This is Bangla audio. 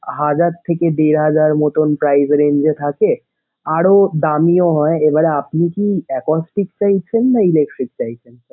হাজার থেকে দেড় হাজার মতন price range এ থাকে। আরো দামিও হয়। এবার আপনি কি apostic চাইছেন নাকি electric চাইছেন?